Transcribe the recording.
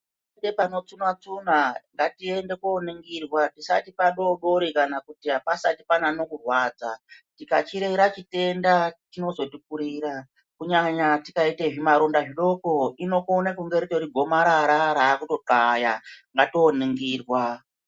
Ite pano tsuna tsuna ngatiende koningirwa tisati padodori kana kuti apasati panyanya kurwadza tikachirera chitenda chinozotikurira kunyanya tikaita zvimaronda zvidoko ikona kunge iri gomarara rakutokaya ngatiende koningirwa